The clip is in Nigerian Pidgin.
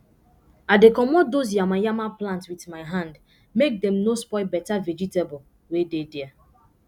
i dey comot dose yama yama plant with my hand make dem no spoil beta vegetable wey dey there